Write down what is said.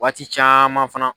Waati caaman fana